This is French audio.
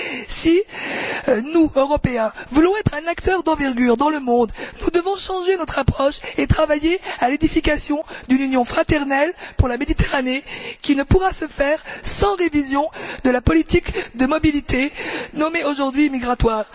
Si nous, Européens, voulons être un acteur d'envergure dans le monde, nous devons changer notre approche et travailler à l'édification d'une union fraternelle pour la Méditerranée, qui ne pourra se faire sans révision de la politique de mobilité, nommée aujourd'hui migratoire.